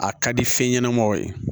A ka di fɛn ɲɛnamaw ye